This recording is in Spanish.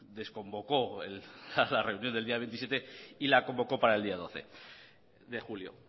desconvocó la reunión del día veintisiete y la convocó para el día doce de julio